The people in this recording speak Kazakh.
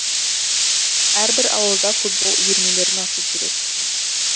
әрбір ауылда футбол үйірмелерін ашу керек